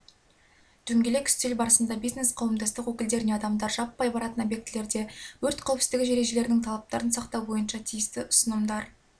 дөңгелек үстел барысында бизнес-қауымдастық өкілдеріне адамдар жаппай баратын объектілерде өрт қауіпсіздігі ережелерінің талаптарын сақтау бойынша тиісті ұсынымдар беріліп мамандары кәсіпкерлердің